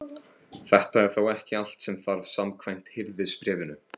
Þetta er þó ekki allt sem þarf samkvæmt Hirðisbréfinu.